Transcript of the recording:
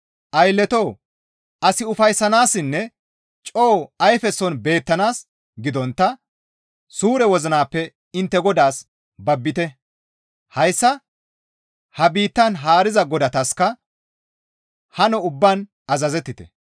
Aylletoo! As ufayssanaassinne coo ayfeson beettanaas gidontta suure wozinappe intte Godaas babbite; hayssa ha biittan haariza godataska hano ubbaan azazettite.